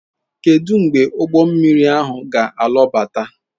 Kedu mgbe ụgbọ mmiri ahụ ga-alọbata?